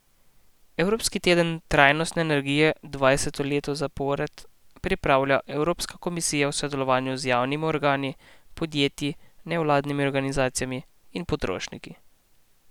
Evropski teden trajnostne energije dvanajsto leto zapored pripravlja Evropska komisija v sodelovanju z javnimi organi, podjetji, nevladnimi organizacijami in potrošniki.